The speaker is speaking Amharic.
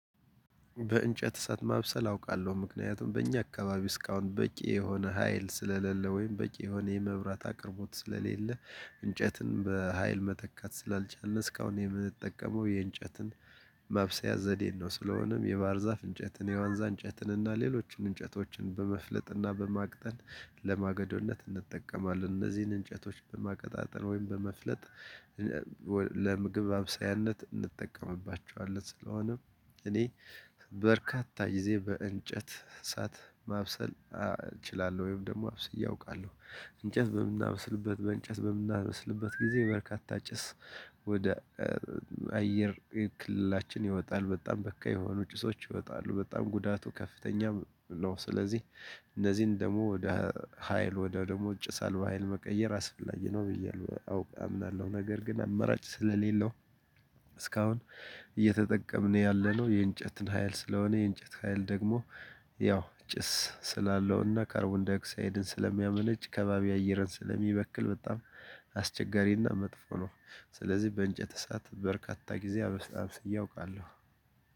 በእንጨት እሳት ማብሰል አውቃለሁ ምክንያቱም በእኛ አካባቢ እስካሁን በቂ የሆነ ሀይል ስለሌለ ወይም በቂ የሆነ የመብራት አቅርቦት ስለሌለ እንጨትን በሃይል መተካት ስላልቻልነ እስካሁን የምንጠቀመው የእንጨትን ማብሰያ ዘዴን ነው። ስለሆነም የባህር ዛፍ እንጨትን የዋንዛ እንጨትን እና ሌሎችን እንጨቶችን በመፍለጥና በማቅጠን ለማገዶነት እንጠቀማለን እነዚህን እንጨቶች በማቀጣጠል ወይም በመፍለጥ ለምግብ ማብሳያነት እንጠቀምባቸዋለን። ስለሆነ እኔ በርካታ ጊዜ በእንጨት እሳት ማብሰል እችላለሁ ወይም ደግሞ አብስዬ አውቃለሁ። እንጨት በምናበስልበት በእንጨት በምናበስልበት ጊዜ በርካታ ጭስ ወደ አየር ክልላችን ይወጣል በጣም በካይ የሆኑ ጭሶች ይወጣሉ በጣም ጉዳቱ ከፍተኛም ነው። ስለዚህ እነዚህን ደግሞ ወደ ሀይል ወደ ደግሞ ጭሳለባ በሃይል መቀየር አስፈላጊ ነው ብዬ አውቃለሁ አምናለሁ። ነገር ግን አመራጭ ስለሌለው እስካሁን እየተጠቀምነ ያለነው የእንጨትን ሀይል ስለሆነ የእንጨት ሀይል ደግሞ ያው ጭስ ስላለውና ካርቦን ዳይኦሳይድን ስለሚያመነጭ ከባቢ አይርን ስለሚበክል በጣም አስቸጋሪና መጥፎ ነው። ስለዚህ በእንጨት እሳት በርካታ ጊዜ አብስ አብስዬ አውቃለሁ።